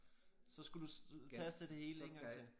Så skulle du øh taste det hele 1 gang til